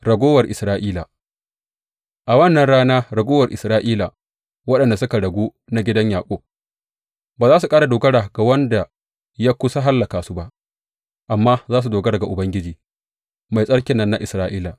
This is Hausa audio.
Raguwar Isra’ila A wannan rana raguwar Isra’ila, waɗanda suka ragu na gidan Yaƙub, ba za su ƙara dogara ga wanda ya kusa hallaka su ba amma za su dogara ga Ubangiji, Mai Tsarkin nan na Isra’ila.